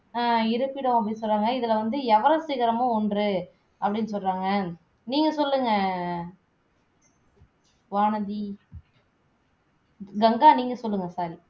அஹ் இருப்பிடம் அப்படின்னு சொல்லுறாங்க இதுல வந்து எவரஸ்டு சிகரமும் ஒன்று அப்படின்னு சொல்லுறாங்க நீங்க சொல்லுங்க வானதி கங்கா நீங்க சொல்லுங்க sorry